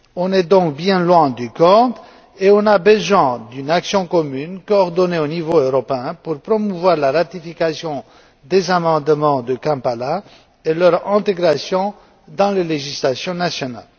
Nous sommes donc bien loin du compte et nous avons besoin d'une action commune coordonnée au niveau européen pour promouvoir la ratification des amendements de Kampala et leur intégration dans les législations nationales.